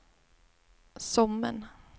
Sommen